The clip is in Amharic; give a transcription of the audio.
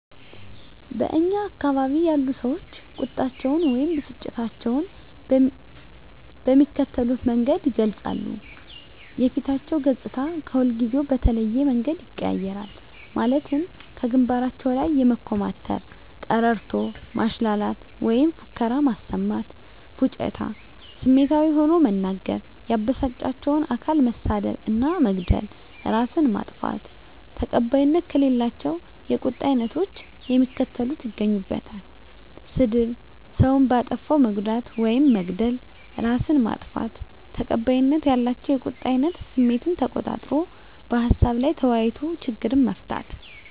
በእኛ አካባቢ ያሉ ሰዎች ቁጣቸውን ወይም ብስጭታቸውን በሚከተሉት መንገድ ይገልጻሉ:- የፊታቸው ገፅታ ከሁልጊዜው በተለየ መንገድ ይቀያየራል ማለትም ከግንባራቸው ላይ የመኮማተር፤ ቀረርቶ ማሽላላት ወይም ፉከራ ማሰማት፤ ፉጭታ፤ ስሜታዊ ሆኖ መናገር፤ ያበሳጫቸውን አካል መሳደብ እና መግደል፤ እራስን ማጥፋት። ተቀባይነት ከሌላቸው የቁጣ አይነቶች የሚከተሉት ይገኙበታል -ስድብ፤ ሰውን በአጠፋው መጉዳት ውይም መግደል፤ እራስን ማጥፋት። ተቀባይነት ያላቸው የቁጣ አይነት ስሜትን ተቆጣጥሮ በሀሳቡ ላይ ተወያይቶ ችግርን መፍታት።